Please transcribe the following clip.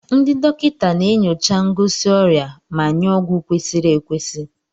Ndị dọkịta na-enyocha ngosi ọrịa ma nye ọgwụ kwesịrị ekwesị.